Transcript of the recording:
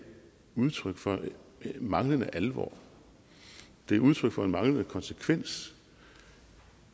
udtryk for manglende alvor det er udtryk for en manglende konsekvens